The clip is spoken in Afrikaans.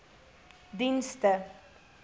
dienste